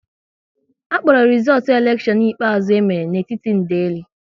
A kpọrọ rizootu elekshion ikpeazụ e mere n'etiti ndeli